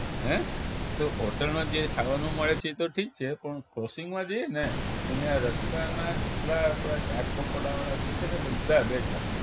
હે તો hotel માં જે ખાવાનું મળે છે એ તો ઠીક છે પણ crossing માં જઈએ ને તો ઈયા રસ્તામાં જેટલા ચાટ પકોડા વાળા જે છે ને બધા બેઠા